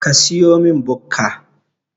Ka siyomin Bukka